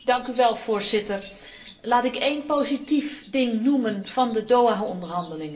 Voorzitter, laat ik één positief punt noemen van de Doha onderhandelingen.